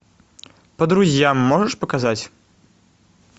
по друзьям можешь показать